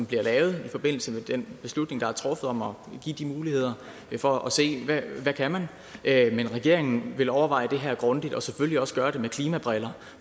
bliver lavet i forbindelse med den beslutning der er truffet om at give de muligheder for at se hvad man kan men regeringen vil overveje det her grundigt og selvfølgelig også gøre det med klimabrillerne